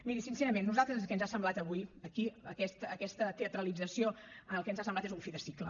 miri sincerament a nosaltres el que ens ha semblat avui aquí aquesta teatralització el que ens ha semblat és un fi de cicle